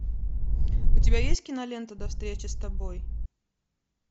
у тебя есть кинолента до встречи с тобой